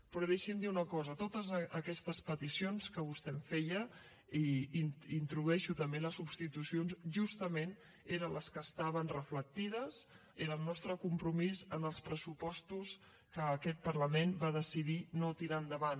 però deixi’m dir una cosa totes aquestes peticions que vostè em feia i hi introdueixo també les substitucions justament eren les que estaven reflectides era el nostre compromís en els pressupostos que aquest parlament va decidir no tirar endavant